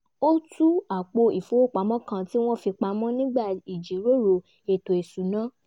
ó tú apò ìfowópamọ́ kan tí wọ́n fì pamọ́ nígbà ìjíròrò ètò ìṣúná